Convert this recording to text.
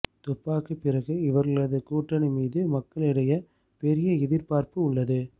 துப்பாக்கி பிறகு இவர்களது கூட்டணி மீது மக்களிடைய பெரிய எதிர்பார்ப்பு உள்ளது